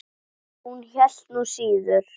Hún hélt nú síður.